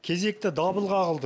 кезекті дабыл қағылды